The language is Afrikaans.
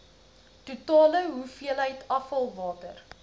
totale hoeveelheid afvalwater